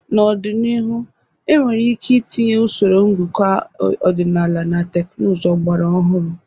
N'ọdịnihu, enwere ike itinye usoro ngụkọ ọdịnala na teknụzụ ọgbara ọhụrụ.